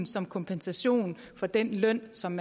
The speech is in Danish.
som kompensation for den løn som